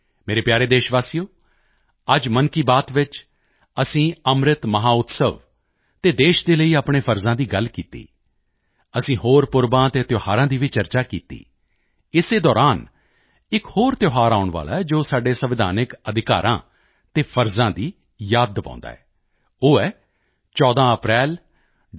ਮੇਰੇ ਪਿਆਰੇ ਦੇਸ਼ਵਾਸੀਓ ਅੱਜ ਮਨ ਕੀ ਬਾਤ ਵਿੱਚ ਅਸੀਂ ਅੰਮ੍ਰਿਤ ਮਹੋਤਸਵ ਅਤੇ ਦੇਸ਼ ਦੇ ਲਈ ਆਪਣੇ ਫਰਜ਼ਾਂ ਦੀ ਗੱਲ ਕੀਤੀ ਅਸੀਂ ਹੋਰ ਪੁਰਬਾਂ ਅਤੇ ਤਿਓਹਾਰਾਂ ਦੀ ਵੀ ਚਰਚਾ ਕੀਤੀ ਇਸੇ ਦੌਰਾਨ ਇਕ ਹੋਰ ਤਿਓਹਾਰ ਆਉਣ ਵਾਲਾ ਹੈ ਜੋ ਸਾਡੇ ਸੰਵਿਧਾਨਿਕ ਅਧਿਕਾਰਾਂ ਅਤੇ ਫ਼ਰਜ਼ਾਂ ਦੀ ਯਾਦ ਦਿਵਾਉਂਦਾ ਹੈ ਉਹ ਹੈ 14 ਅਪ੍ਰੈਲ ਡਾ